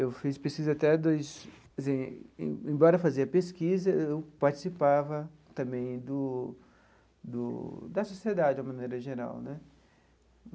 Eu fiz pesquisa até dois quer dizer... Em embora eu fazia pesquisa, eu participava também do do da sociedade, de uma maneira geral né.